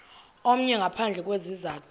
omnye ngaphandle kwesizathu